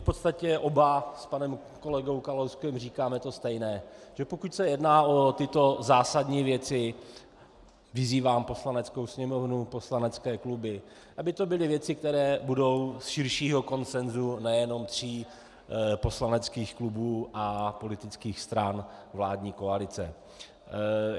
V podstatě oba s panem kolegou Kalouskem říkáme to stejné, že pokud se jedná o tyto zásadní věci, vyzývám Poslaneckou sněmovnu, poslanecké kluby, aby to byly věci, které budou z širšího konsenzu nejenom tří poslaneckých klubů a politických stran vládní koalice.